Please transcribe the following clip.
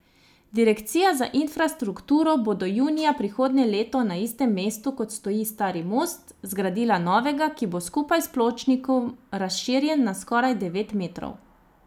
Direkcija za infrastrukturo bo do junija prihodnje leto na istem mestu, kot stoji stari most, zgradila novega, ki bo skupaj s pločnikom razširjen na skoraj devet metrov.